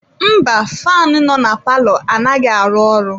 Mba, faanụ nọ na palọ anaghị arụ ọrụ.